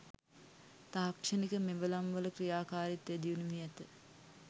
තාක්ෂණික මෙවලම්වල ක්‍රියාකාරිත්වය දියුණු වී ඇත